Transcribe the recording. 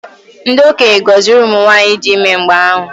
Ndị okenye gọziri ụmụ nwaanyị dị ime mgbe ahụ.